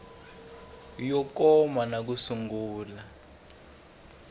yo koma na ku sungula